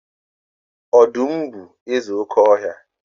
Ọdụm bụ eze oké ọhịa.